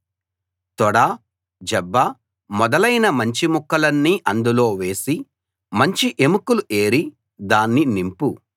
తొడ జబ్బ మొదలైన మంచి ముక్కలన్నీ అందులో వేసి మంచి ఎముకలు ఏరి దాన్ని నింపు